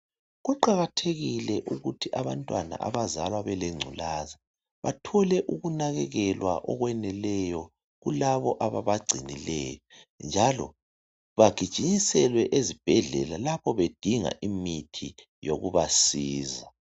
Kuqakathekile ukuthi abantwana abazalwa belengculaza bathole ukunakekelwa okupheleleyo kulabo ababagcinileyo njalo bagijimiselwe ezibhendlela lapho bedinga imithi yokubasiza